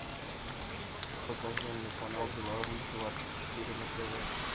покажи мне канал беларусь двадцать четыре на тв